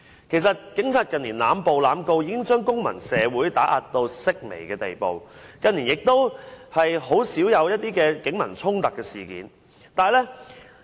其實，警察近年濫捕及濫告已將公民社會嚴重打壓，近年亦甚少發生警民衝突事件。